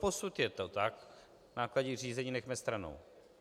Doposud je to tak - náklady řízení nechme stranou.